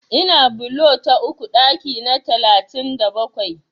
Ina bulo ta uku ɗaki na talatin da bakwai.